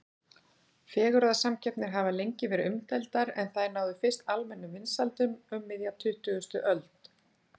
Fegurðarsamkeppnir hafa lengi verið umdeildar en þær náðu fyrst almennum vinsældum um miðja tuttugustu öld.